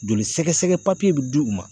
Joli sɛgɛsɛgɛ papiye bɛ di u ma.